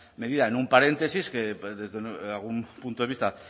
medida en un paréntesis que desde algún punto de vista